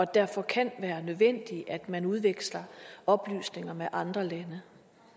derfor kan være nødvendigt at man udveksler oplysninger med andre lande